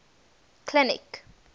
clinic